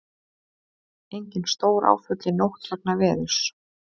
Engin stóráföll í nótt vegna veðurs